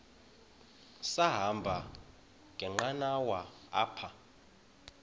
sahamba ngenqanawa apha